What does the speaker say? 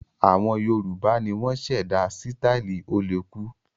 Àwọn Yorùbá ni wọ́n ṣẹ̀dá sítáálì ó-le-kú.